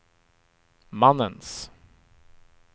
mannens